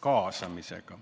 kaasamisega?